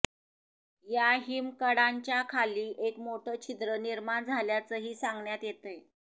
या हिमकडांच्याखाली एक मोठं छिद्र निर्माण झाल्याचंही सांगण्यात येतंय